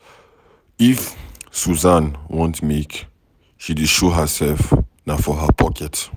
If Susan want make she dey show herself, na for her pocket.